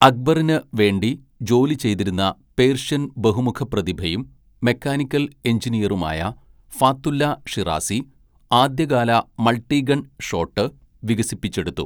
അക്ബറിന് വേണ്ടി ജോലി ചെയ്തിരുന്ന പേർഷ്യൻ ബഹുമുഖപ്രതിഭയും മെക്കാനിക്കൽ എഞ്ചിനീയറുമായ ഫാത്തുല്ല ഷിറാസി ആദ്യകാല മൾട്ടിഗൺ ഷോട്ട് വികസിപ്പിച്ചെടുത്തു.